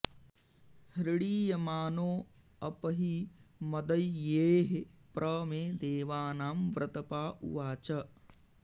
हृणीयमानो अप हि मदैयेः प्र मे देवानां व्रतपा उवाच